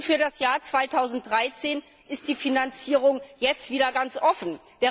Und für das Jahr 2013 ist die Finanzierung jetzt wieder ganz offen.